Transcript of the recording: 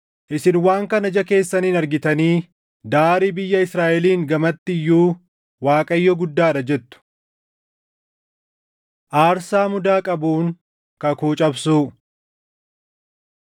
Isin waan kana ija keessaniin argitanii, ‘Daarii biyya Israaʼeliin gamatti iyyuu Waaqayyo Guddaa dha!’ jettu. Aarsaa Mudaa Qabuun Kakuu Cabsuu